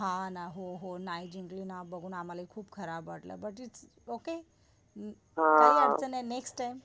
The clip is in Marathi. हा ना, हो हो नाही जिंकली ना मला खूप खराब वाटलं बुटं इट्स ओके काही अडचण नाही नेक्स्ट टाइम.